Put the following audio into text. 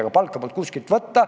Aga palka polnud kuskilt võtta.